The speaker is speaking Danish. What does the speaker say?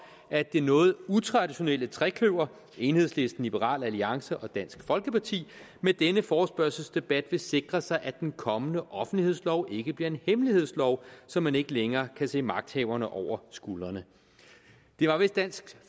at det noget utraditionelle trekløver enhedslisten liberal alliance og dansk folkeparti med denne forespørgselsdebat vil sikre sig at den kommende offentlighedslov ikke bliver en hemmelighedslov så man ikke længere kan se magthaverne over skuldrene det var vist dansk